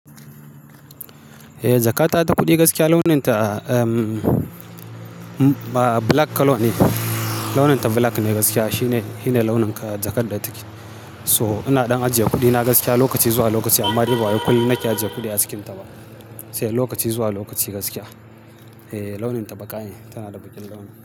Eh, jakata ta kuɗi gaskiya launinta, ehm, ba black colour ne. Launinta black ne gaskiya. Shine, shine launin jakar da take. So ina ɗan ajiye kuɗina gaskiya lokaci zuwa lokaci amma dai ba wa yau kullum nake ajiye kuɗi a cikinta ba. Sai lokaci zuwa lokaci gaskiya. Eh launinta baƙa ne tana da baƙin damina.